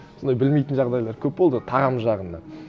сондай білмейтін жағдайлар көп болды тағам жағынан